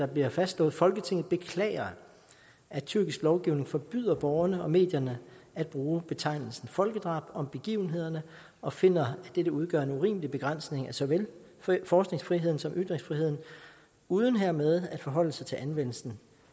bliver fastslået folketinget beklager at tyrkisk lovgivning forbyder borgerne og medierne at bruge betegnelsen folkedrab om begivenhederne og finder at dette udgør en urimelig begrænsning af såvel forskningsfriheden som ytringsfriheden uden hermed at forholde sig til anvendelsen